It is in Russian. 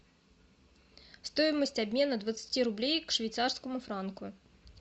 стоимость обмена двадцати рублей к швейцарскому франку